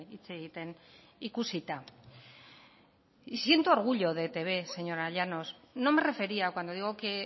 hitz egiten ikusita y siento orgullo de etb señora llanos no me refería cuando digo que